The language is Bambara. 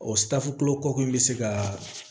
O kɔkɔ in bɛ se ka